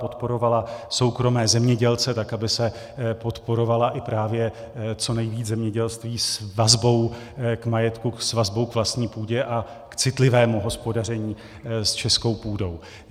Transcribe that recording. Podporovala soukromé zemědělce, tak aby se podporovalo i právě co nejvíc zemědělství s vazbou k majetku, s vazbou k vlastní půdě a k citlivému hospodaření s českou půdou.